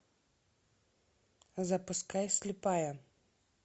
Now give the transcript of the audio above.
запускай слепая